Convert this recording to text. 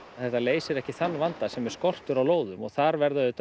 leysir ekki þann vanda sem er skortur á lóðum og þar verða auðvitað